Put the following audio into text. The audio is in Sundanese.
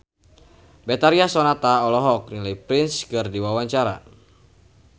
Betharia Sonata olohok ningali Prince keur diwawancara